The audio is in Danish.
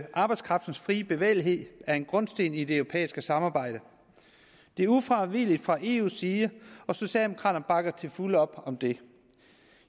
arbejdskraftens frie bevægelighed er en grundsten i det europæiske samarbejde det er ufravigeligt fra eus side og socialdemokraterne bakker til fulde op om det